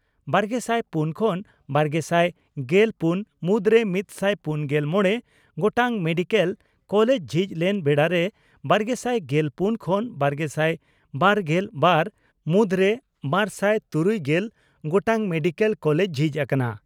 ᱵᱟᱨᱜᱮᱥᱟᱭ ᱯᱩᱱ ᱠᱷᱚᱱ ᱵᱟᱨᱜᱮᱥᱟᱭ ᱜᱮᱞ ᱯᱩᱱ ᱢᱩᱫᱽᱨᱮ ᱢᱤᱛᱥᱟᱭ ᱯᱩᱱᱜᱮᱞ ᱢᱚᱲᱮ ᱜᱚᱴᱟᱝ ᱢᱮᱰᱤᱠᱮᱞ ᱠᱚᱞᱮᱡᱽ ᱡᱷᱤᱡ ᱞᱮᱱ ᱵᱮᱲᱟ ᱨᱮ ᱵᱟᱨᱜᱮᱥᱟᱭ ᱜᱮᱞ ᱯᱩᱱ ᱠᱷᱚᱱ ᱵᱟᱨᱜᱮᱥᱟᱭ ᱵᱟᱨᱜᱮᱞ ᱵᱟᱨ ᱢᱩᱫᱽᱨᱮ ᱵᱟᱨᱥᱟᱭ ᱛᱩᱨᱩᱭᱜᱮᱞ ᱜᱚᱴᱟᱝ ᱢᱮᱰᱤᱠᱮᱞ ᱠᱚᱞᱮᱡᱽ ᱡᱷᱤᱡ ᱟᱠᱟᱱᱟ ᱾